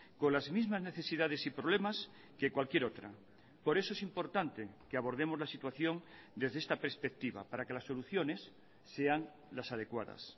con las mismas necesidades y problemas que cualquier otra por eso es importante que abordemos la situación desde esta perspectiva para que las soluciones sean las adecuadas